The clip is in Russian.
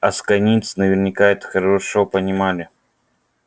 асконийцы наверняка это хорошо понимали